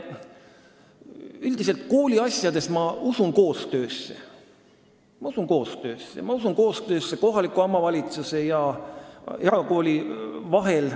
Aga üldiselt ma kooliasjades usun koostöösse, ma usun koostöösse kohaliku omavalitsuse ja erakooli vahel.